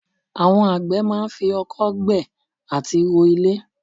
Àwọn àgbẹ̀ máa ń fi oko gbẹ́ àti ro ilẹ̀.